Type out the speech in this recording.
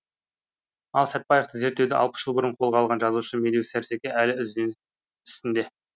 ал сәтбаевты зерттеуді алпыс жыл бұрын қолға алған жазушы медеу сәрсеке әлі үзденіс үстінде